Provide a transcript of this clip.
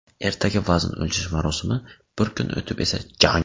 Ertaga vazn o‘lchash marosimi, bir kun o‘tib esa jang.